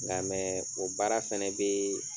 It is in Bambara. Nka mɛ o baara fana bɛ